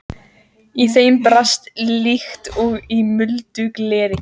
Í þeim brast líkt og í muldu gleri.